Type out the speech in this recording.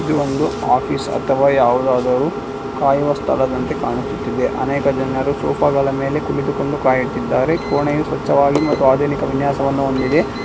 ಇದು ಒಂದು ಆಫೀಸ್ ಅಥವಾ ಯಾವುದಾದರೂ ಕಾಯುವ ಸ್ಥಳದಂತೆ ಕಾಣಿಸುತ್ತಿದೆ ಅನೇಕ ಜನಗಳು ಸೋಫಾಗಳ ಮೇಲೆ ಕುಳಿತುಕೊಂಡು ಕಾಯುತ್ತಿದ್ದಾರೆ ಕೋಣೆ ಸ್ವಚ್ಛವಾಗಿ ಮತ್ತು ಆಧುನಿಕ ವಿನ್ಯಾಸವನ್ನು ಹೊಂದಿದೆ.